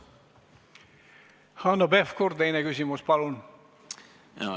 Hanno Pevkur, teine küsimus, palun!